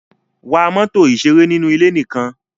Wa mọ́tò ìṣeré nínú ilé nìkan!